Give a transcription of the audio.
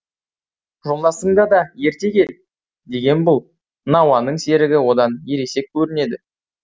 жолдасыңды да ерте кел деген бұл науанның серігі одан ересек көрінеді